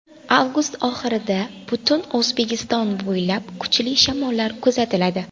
Avgust oxirida butun O‘zbekiston bo‘ylab kuchli shamollar kuzatiladi.